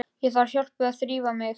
Ég þarf hjálp við að þrífa mig.